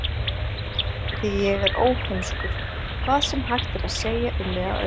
Því ég er óheimskur, hvað sem hægt er að segja um mig að öðru leyti.